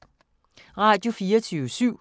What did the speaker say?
Radio24syv